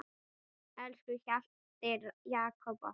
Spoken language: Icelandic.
Elsku Hjalti Jakob okkar.